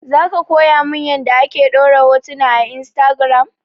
Zaka koya mun yanda ake ɗora hotuna a instagiram?